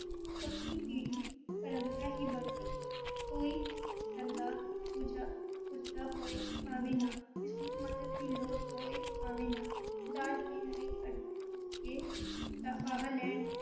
ਪੱਕੀ ਪੀੜ੍ਹੀ ਪਰੰਪਰਾ ਹੀ ਬਣ ਗਈ ਹੈ, ਕੋਈ ਸ ਸਰਦਾ ਪੁਜਾ ਪੁਜਦਾ ਹੋਏ ਭਾਵੇਂ ਨਾ, ਕਿਸੇ ਨੂੰ ਮੱਦਦ ਦੀ ਲੋੜ ਹੋਏ ਭਾਵੇਂ ਨਾ, ਦਾਜ ਦੇਣ ਲਈ ਅੱਡੀਆਂ ਚੁੱਕ ਕੇ ਦਾ ਫਾਹਾ ਲੈਣ